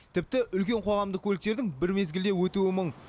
тіпті үлкен қоғамдық көліктердің бір мезгілде өтуі мұң